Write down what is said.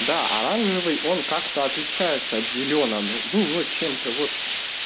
да оранжевый он как-то отличается от зелёного ну вот чем-то вот